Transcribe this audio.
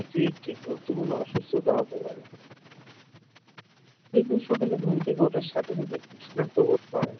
এটি একটি গুরুত্বপূর্ণ অসুস্থতা হতে পারে কেউ কেউ সকালে ঘুম থেকে ওঠার সাথে সাথে ক্লান্ত বোধ করেন